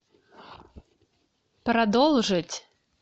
продолжить